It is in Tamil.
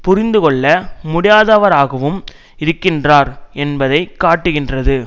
புரிந்து கொள்ள முடியாதவராகவும் இருக்கின்றார் என்பதை காட்டுகின்றது